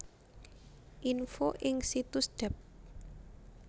Info ing situs Dept